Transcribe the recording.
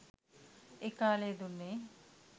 ඒ කාලයේ දුන්නේ